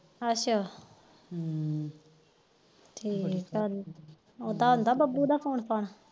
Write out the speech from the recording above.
ਅੱਛਾ ਹਮ ਠੀਕਾ ਹਮ ਉਹਦਾ ਆਂਦਾ ਬੱਬੂ ਦਾ ਫੋਨ ਫਾਨ